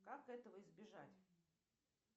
как этого избежать